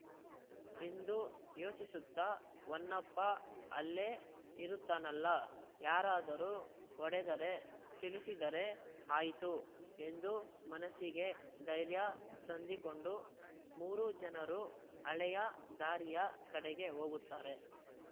ಎಂದು ಯೋಚಿಸುತ್ತಾ ಹೊನ್ನಪ್ಪ ಅಲ್ಲೇ ಇರುತ್ತಾನಲ್ಲಾ ಯಾರಾದರೂ ಹೊಡೆದರೆ ತಿಳಿಸಿದರೆ ಆಯಿತು ಎಂದು ಮನಸ್ಸಿಗೆ ಧೈರ್ಯ ತಂದಿಕೊಂಡು ಮೂರು ಜನರೂ ಹಳೆಯ ದಾರಿಯ ಕಡೆಗೆ ಹೋಗುತ್ತಾರೆ